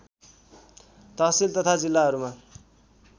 तहसील तथा जिल्लाहरूमा